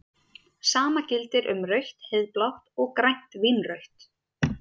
Sama gildir um rautt-heiðblátt og grænt-vínrautt.